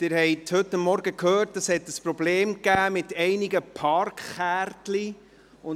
Sie haben heute Vormittag gehört, dass es mit einigen Parkkärtchen Probleme gab.